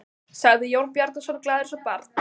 sagði Jón Bjarnason, glaður eins og barn.